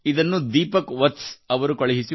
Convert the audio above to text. ಖೂನ್ ತೇರಾ ಸುಲಗಾ ಔರ್ ಆಗ್ ಉಗಲಾ